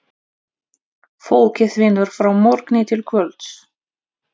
Fólkið vinnur frá morgni til kvölds.